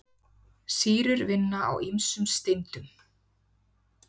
Sýrur vinna á ýmsum steindum.